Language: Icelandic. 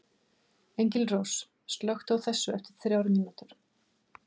Engilrós, slökktu á þessu eftir þrjár mínútur.